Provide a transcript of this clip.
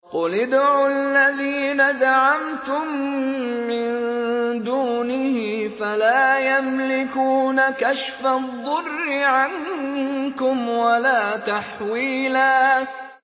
قُلِ ادْعُوا الَّذِينَ زَعَمْتُم مِّن دُونِهِ فَلَا يَمْلِكُونَ كَشْفَ الضُّرِّ عَنكُمْ وَلَا تَحْوِيلًا